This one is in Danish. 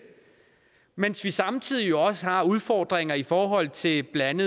mens vi samtidig også har udfordringer i forhold til blandt